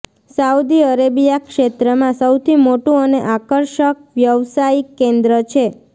Saudi Arabia ક્ષેત્રમાં સૌથી મોટુ અને આકર્ષક વ્યવસાયિક કેન્દ્ર છે